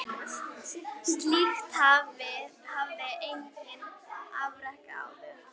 Slíkt hafði enginn afrekað áður.